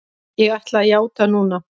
Ég ætla að játa núna.